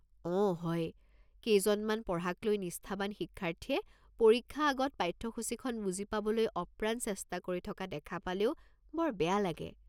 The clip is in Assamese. অঁ হয়, কেইজনমান পঢ়াক লৈ নিষ্ঠাৱান শিক্ষাৰ্থীয়ে পৰীক্ষা আগত পাঠ্যসূচিখন বুজি পাবলৈ অপ্ৰাণ চেষ্টা কৰি থকা দেখা পালেও বৰ বেয়া লাগে।